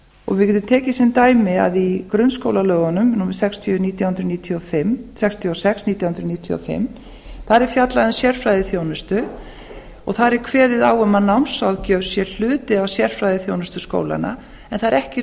og við getum tekið sem dæmi að í grunnskólalögunum númer sextíu og sex nítján hundruð níutíu og fimm er fjallað um sérfræðiþjónustu og þar er kveðið á að námsráðgjöf sé hluti af sérfræðiþjónustu skólanna en það er ekki